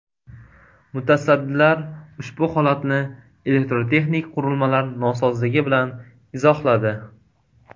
Mutasaddilar ushbu holatni elektrotexnik qurilmalar nosozligi bilan izohladi.